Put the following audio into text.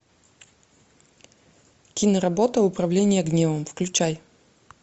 киноработа управление гневом включай